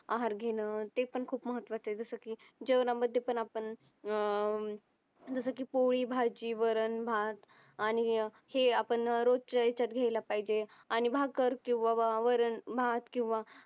आहार घेणं ते पण खूप महत्वाचं आहे जस की जेवणामध्ये पण आपण अं जस कि पोळी भाजी वरण भात आणि हे आपण रोजच्या याच्यात घ्यायला पाहिजे आणि भाकर किंवा वरण भात किंवा